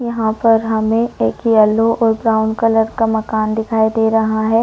यहाँ पर हमें एक यलो और एक ब्राउन कलर का मकान दिखाई दे रहा है।